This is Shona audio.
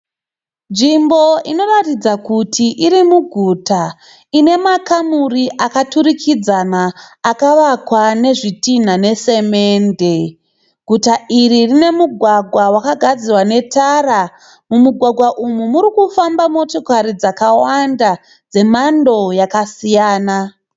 Nzvimbo inoratidza kuti iri muguta ine makamuri akaturikidzana akavakwa nezvitinha nesemende. Guta iri rine mugwagwa wakagadzirwa netara. Mumugwagwa umu muri kufamba motokari dzakawanda dzemhando yakasiyana.